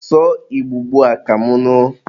sụọ Igbo ugbua ka mụ nụ!